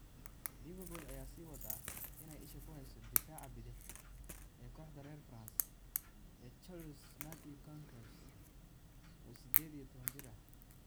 Liverpool ayaa sii wada inay isha ku hayso daafaca bidix ee kooxda reer France ee Toulouse Mathieu Goncalves, oo sideed iyo tobaan jir ah.